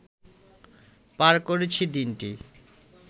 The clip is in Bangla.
পার করেছি দিনটি